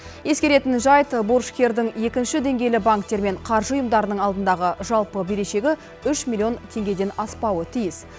ескеретін жайт борышкердің екінші деңгейлі банктер мен қаржы ұйымдарының алдындағы жалпы берешегі үш миллион теңгеден аспауы тиіс